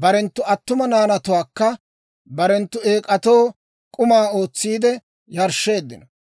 barenttu attuma naanatuwaakka barenttu eek'atoo k'uma ootsiide yarshsheeddino.